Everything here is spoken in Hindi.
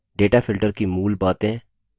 data filtering की मूल बातें